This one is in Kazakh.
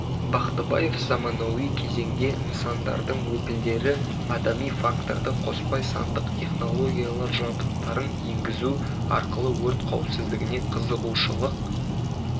бақтыбаев заманауи кезеңде нысандардың өкілдері адами факторды қоспай сандық технологиялар жабдықтарын енгізу арқылы өрт қауіпсіздігіне қызығушылық